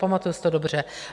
Pamatuji si to dobře.